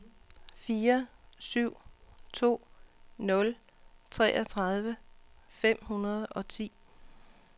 fire syv to nul treogtredive fem hundrede og ti